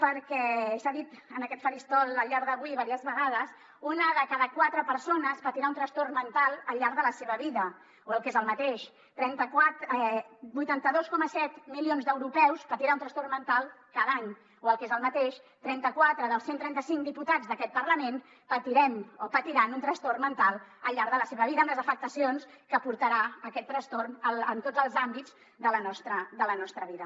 perquè s’ha dit en aquest faristol al llarg d’avui diverses vegades una de cada quatre persones patirà un trastorn mental al llarg de la seva vida o el que és el mateix vuitanta dos coma set milions d’europeus patiran un trastorn mental cada any o el que és el mateix trenta quatre dels cent i trenta cinc diputats d’aquest parlament patirem o patiran un trastorn mental al llarg de la seva vida amb les afectacions que portarà aquest trastorn en tots els àmbits de la nostra vida